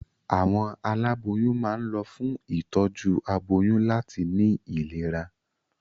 Àwọn aláboyún máa ń lọ fún ìtọ́jú aboyún láti ní ìlera.